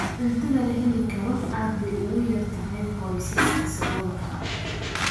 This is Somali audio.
Cuntada la heli karo aad bay ugu yar tahay qoysaska saboolka ah.